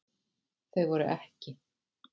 Þau voru EKKI.